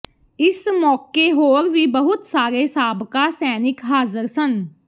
ਇਸ ਮੌਕੇ ਹੋਰ ਵੀ ਬਹੁਤ ਸਾਰੇ ਸਾਬਕਾ ਸੈਨਿਕ ਹਾਜ਼ਰ ਸਨ